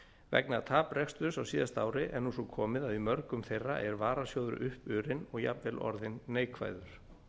vegna tapreksturs á síðasta ári er nú svo komið að í mörgum þeirra er varasjóður uppurinn og jafnvel orðinn neikvæður